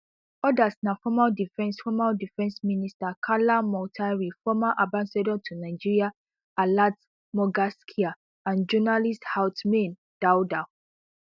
odas na former defence former defence minister kalla moutari former ambassador to nigeria alat mogaskia and journalist ousmane toudou